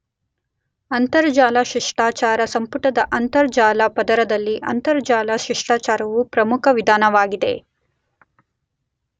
ಅಂತರಜಾಲ ಶಿಷ್ಟಾಚಾರ ಸಂಪುಟದ ಅಂತರಜಾಲ ಪದರದಲ್ಲಿ ಅಂತರಜಾಲ ಶಿಷ್ಟಾಚಾರವು ಪ್ರಮುಖ ವಿಧಾನವಾಗಿದೆ.